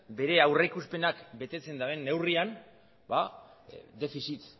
bere aurrikuspenak betetzen duten neurrian ba defizit